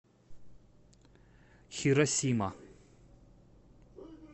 хиросима